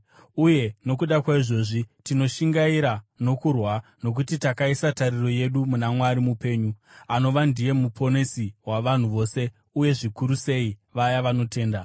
uye nokuda kwaizvozvi tinoshingaira nokurwa, nokuti takaisa tariro yedu muna Mwari mupenyu, anova ndiye muponesi wavanhu vose uye zvikuru sei vaya vanotenda.